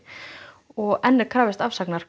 og enn er krafist afsagnar